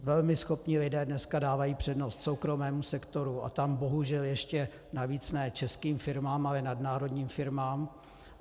Velmi schopní lidé dneska dávají přednost soukromému sektoru a tam bohužel ještě navíc ne českým firmám, ale nadnárodním firmám.